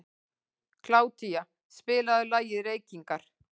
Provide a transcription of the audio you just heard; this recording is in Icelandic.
Kládía, spilaðu lagið „Reykingar“.